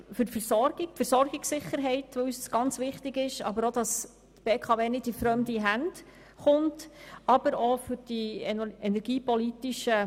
Die Versorgungssicherheit ist uns sehr wichtig, und wir wollen nicht, dass die BKW in fremde Hände kommt.